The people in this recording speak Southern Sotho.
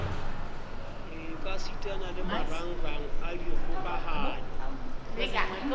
ekasitana le marangrang a dikgokahano